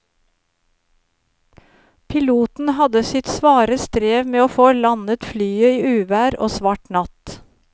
Piloten hadde sitt svare strev med å få landet flyet i uvær og svart natt.